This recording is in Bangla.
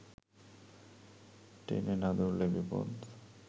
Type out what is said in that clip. টেনে না ধরলে বিপদ